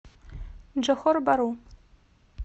джохор бару